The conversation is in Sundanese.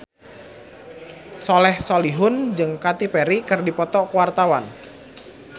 Soleh Solihun jeung Katy Perry keur dipoto ku wartawan